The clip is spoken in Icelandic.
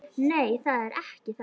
Nei, það er ekki það.